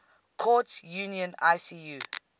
courts union icu